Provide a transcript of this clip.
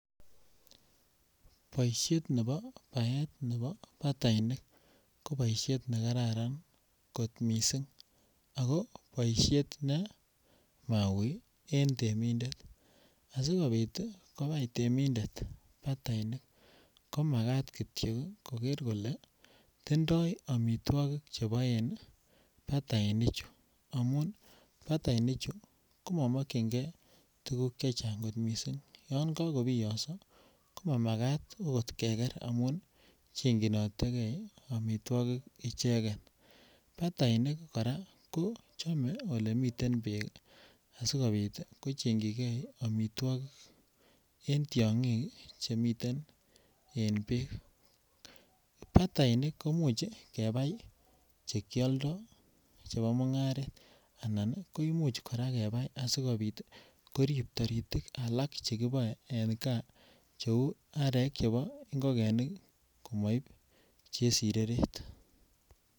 Boishet nebo baet nebo batainik ko boishet ne kararan kot missing ako boishet ne mauuii en temindet asikopit konai temindet batainik ko makat kityo ii koger kolee tindoi omitwokik che boen bataini chu amun bataini chu ko mokyingee tuguk chechang kot missing yon kogobiyoso ko makat okot keger amun chekyin otege omitwokik icheget. Batainik koraa ko chome ole miten beek asikopit ko chengyigee omitwokik en tyogik che miten en beek, batainik komuch kebai che kyoldo chebo mungaret anan ko imuch koraa kebai asikopit ii korib toritik alak che kiboe en gaa che uu arek chebo ngogenik ii komoib chesireret